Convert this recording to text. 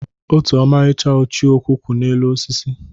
Otu ọmarịcha ichioku kwụ n'elu osisi.